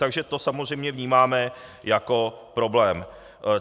Takže to samozřejmě vnímáme jako problém.